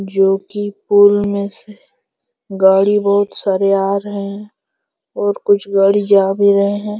जो कि पुल में से गाड़ी बहुत सारे आ रहे हैं और कुछ गाड़ी जा भी रहे हैं।